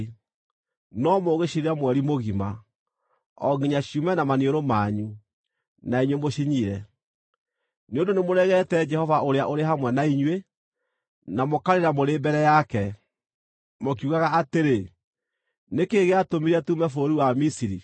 no mũgũcirĩa mweri mũgima, o nginya ciume na maniũrũ manyu, na inyuĩ mũcinyire, nĩ ũndũ nĩmũregete Jehova ũrĩa ũrĩ hamwe na inyuĩ, na mũkarĩra mũrĩ mbere yake, mũkiugaga atĩrĩ, “Nĩ kĩĩ gĩatũmire tuume bũrũri wa Misiri?” ’”